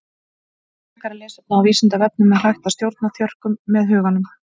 Frekara lesefni á Vísindavefnum Er hægt að stjórna þjörkum með huganum?